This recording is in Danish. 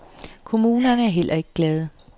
Kommunerne er heller ikke glade.